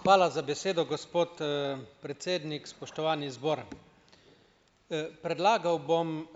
Hvala za besedo, gospod, predsednik, spoštovani zbor! predlagal bom,